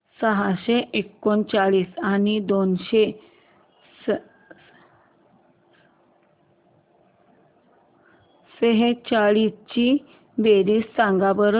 सहाशे एकोणसत्तर आणि दोनशे सेहचाळीस ची बेरीज सांगा बरं